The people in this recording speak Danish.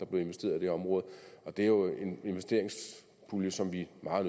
blev investeret i det område og det er jo en investeringspulje som vi meget